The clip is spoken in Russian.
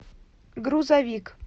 грузовик